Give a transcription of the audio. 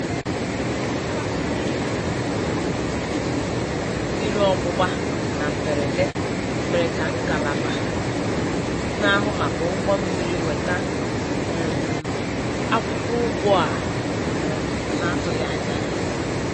Mgbatu n'ike um mmiri ọgbụgba na mberede mere ka ngalaba na-ahụ maka ụgwọ mmiri weta um akwụkwọ ụgwọ a um na-atụghị anya ya. "